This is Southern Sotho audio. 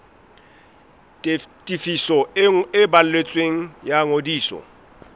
tefiso e balletsweng ya ngodiso